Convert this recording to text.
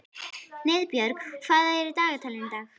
Niðbjörg, hvað er í dagatalinu í dag?